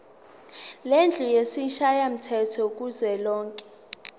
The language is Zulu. lendlu yesishayamthetho kuzwelonke